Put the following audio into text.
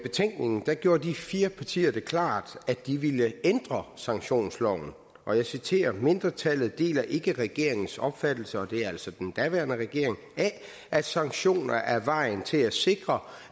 betænkningen gjorde de fire partier det klart at de ville ændre sanktionsloven og jeg citerer mindretallet deler ikke regeringens opfattelse af at sanktioner er vejen til at sikre